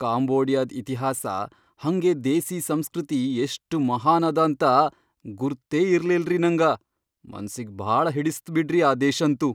ಕಾಂಬೋಡಿಯಾದ್ ಇತಿಹಾಸ ಹಂಗೇ ದೇಸೀ ಸಂಸ್ಕೃತಿ ಎಷ್ಟ್ ಮಹಾನ್ ಅದಾಂತ ಗುರ್ತೇ ಇರ್ಲಿಲ್ರಿ ನಂಗ! ಮನ್ಸಿಗ್ ಭಾಳ ಹಿಡಿಸ್ತ್ ಬಿಡ್ರಿ ಆ ದೇಶಂತೂ.